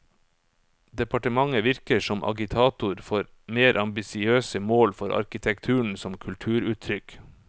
Departementet virker som agitator for mer ambisiøse mål for arkitekturen som kulturuttrykk.